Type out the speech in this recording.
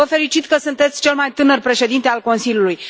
Vă felicit că sunteți cel mai tânăr președinte al Consiliului!